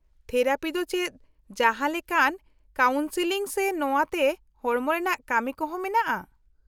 -Therapy ᱫᱚ ᱪᱮᱫ ᱡᱟᱦᱟᱸ ᱞᱮᱠᱟᱱ ᱠᱟᱣᱩᱱᱥᱤᱞᱤᱝ ᱥᱮ ᱱᱚᱶᱟᱛᱮ ᱦᱚᱲᱢᱚ ᱨᱮᱱᱟᱜ ᱠᱟᱢᱤ ᱠᱚ ᱦᱚᱸ ᱢᱮᱱᱟᱜᱼᱟ ?